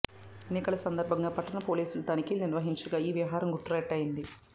ఎన్నికల సందర్బంగా పట్టణ పోలీసులు తనిఖీలు నిర్వహించగా ఈ వ్యవహారం గుట్టు రట్టయింది